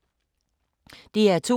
DR2